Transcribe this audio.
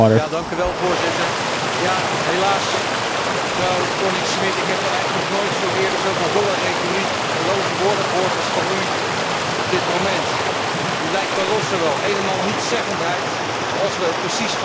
Helaas, mevrouw Thorning Schmidt, ik heb nog nooit eerder zoveel holle retoriek en loze woorden gehoord als van u op dit moment. U lijkt Barroso wel. Een en al nietszeggendheid, zoals we precies van de Commissie en Barroso gewend zijn.